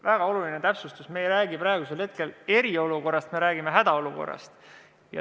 Väga oluline täpsustus: me ei räägi praegu eriolukorrast, me räägime hädaolukorrast.